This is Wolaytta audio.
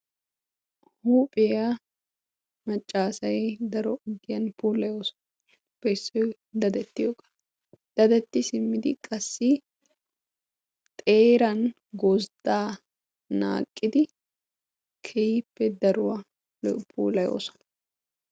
Huuphphiya macca asaay daro ogiyan puulayigappe issoy daddetiyoga. Daddetti simmidi qassi xeeran gozdaa naaqidi keehippe daruwaa puulayosona.